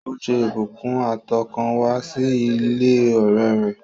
Ó ṣe ìbùkún àtọkànwá sí ilé ọ̀rẹ́ rẹ̀